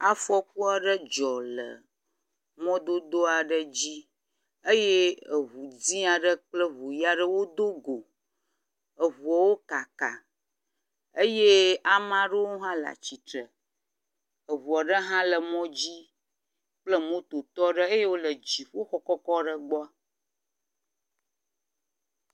Afɔku aɖe dzɔ le mɔdodo aɖe dzi eye eŋu dzi aɖe kple eŋu ʋi aɖe wo do go. Eŋuawo kaka eye ame aɖewo hã le atsitre. Eŋu aɖe hã le mɔ dzi kple mototɔ aɖe eye wo le dziƒoxɔ kɔkɔ ɖe gbɔ.